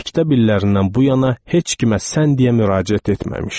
məktəb illərindən bu yana heç kimə “sən” deyə müraciət etməmişdi.